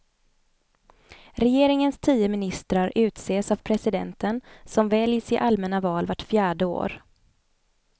Regeringens tio ministrar utses av presidenten, som väljs i allmänna val vart fjärde år.